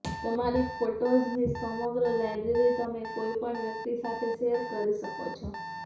તમારી ફોટોસની સમગ્ર લાયબ્રેરી તમે કોઇ પણ વ્યકિત સાથે શેર કરી શકો છો